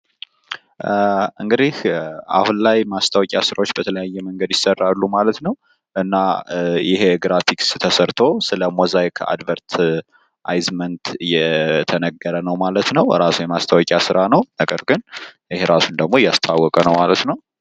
እንግዲህ አሁን ላይ የማስታወቂያ ስራዎች በተለያየ መንገድ ይሰራሉ ማለት ነው። እና ይሄ ግራፊክስ ተሰርቶ ስለሞዛይክ አድቨርት የተነገረ ነው ማለት ነው። ራሱ የማስታወቂያ ስራ ነው ነገር ግን ራሱን ደሞ እያስተዋወቀ ነው ማለት ነው።